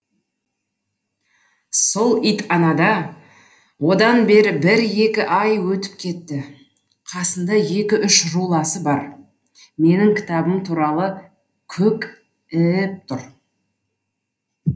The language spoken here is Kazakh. сол ит анада одан бері бір екі ай өтіп кетті қасында екі үш руласы бар менің кітабым туралы көк і іп тұр